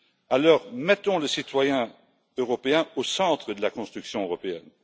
Alors, mettons le citoyen européen au centre de la construction européenne.